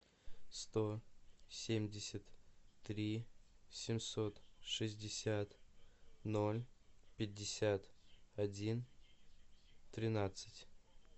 сто семьдесят три семьсот шестьдесят ноль пятьдесят один тринадцать